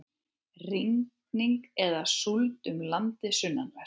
Rigning eða súld um landið sunnanvert